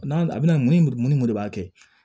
N'a bɛna mun ni mun ni mun de b'a kɛ